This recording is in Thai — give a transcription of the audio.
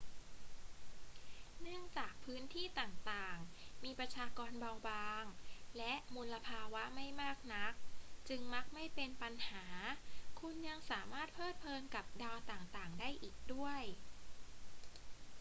เนื่องจากพื้นที่ต่าง ๆ มีประชากรเบาบางและมลภาวะไม่มากนัก จึงมักไม่เป็นปัญหา คุณยังสามารถเพลิดเพลินกับดาวต่าง ๆ ได้อีกด้วย